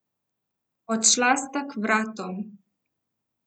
Odšla sta k vratom.